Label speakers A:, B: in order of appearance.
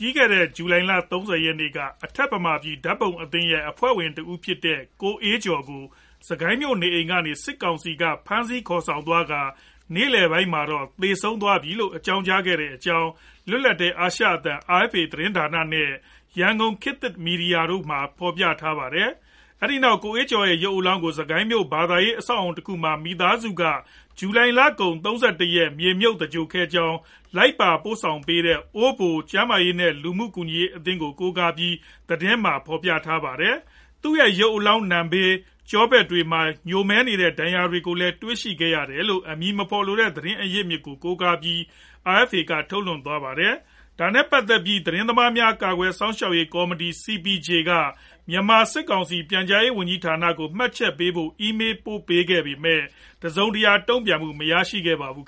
A: ြီးခဲ့တဲ့ ဇူလိုင်လ ၃ဝ ရက်နေ့က အထက်မြန်မာပြည် ဓါတ်ပုံအသင်းရဲ့အဖွဲ့ဝင်တဦးဖြစ်တဲ့ ကိုအေးကျော် ကို စစ်ကိုင်းမြို့ နေအိမ်ကနေ စစ်ကောင်စီက ဖမ်းဆီးခေါ်ဆောင်သွားကာ နေလည်ပိုင်းမှာ သေဆုံးသွားပြီးလို့ အကြောင်းကြားခဲ့တဲ့အကြောင်း လွတ်လပ်တဲ့ အာရှအသံ RFA သတင်းဌာန နဲ့ ရန်ကုန် ခေတ်သစ်မီဒီယာတို့မှာ ဖော်ပြထားပါတယ်။ အဲဒီနောက် ကိုအေးကျော် ရဲ့ ရုပ်အလောင်းကို စစ်ကိုင်းမြို့ရှိ ဘာသာရေး အဆောက်အဦတခုမှာ မိသားစုက ဇူလိုင်လကုန် ၃၁ ရက်နေ့မှာ မြေမြုပ် သဂြိုလ်ခဲ့ကြောင်း လိုက်ပါအကူအညီပေးတဲ့ အိုးဘို ကျန်းမာရေး နဲ့ လူမှုကူညီရေးအသင်း ကို ကိုးကားပြီး သတင်းမှာ ဖော်ပြထားပါတယ်။ သူရဲ့ ရုပ်အလောင်း နံဘေး နဲ့ ကျောဖက်တွေမှာ ညိုမဲနေတဲ့ ဒဏ်ရာတွေကို တွေ့ရှိခဲ့တယ်လို့လည်း အမည်မဖော်လိုတဲ့ သတင်းအရင်းအမြစ် ကို ကိုးကားပြီး RFA က ထုတ်လွှင့်သွားပါတယ်။ ဒါနဲ့ ပတ်သက်ပြီး သတင်းသမားများ ကာကွယ်စောင့်ရှောက်ရေး ကော်မတီ CPJ က မြန်မာစစ်ကောင်စီ ပြန်ကြားရေးဝန်ကြီးဌာနကို မှတ်ချက်ပေးဖို့ အီးမေးပို့ခဲ့ပေမယ့် တစုံတရာ တုံ့ပြန်မှုကို မရရှိသေး
B: ပါဘူး